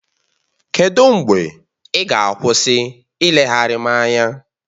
Kedụ mgbe ị ga-akwụsị ileghara m anya?